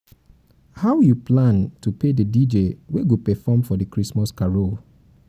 how you plan to pay the dj wey go perform for di christmas carol